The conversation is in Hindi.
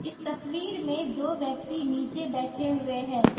इस तस्वीर में दो व्यक्ति नीचे बैठे हुए हैं।